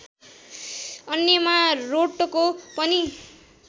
अन्यमा रोटको पनि